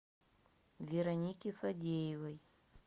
вероники фадеевой